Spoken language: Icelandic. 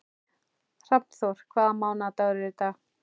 Hrafnþór, hvaða mánaðardagur er í dag?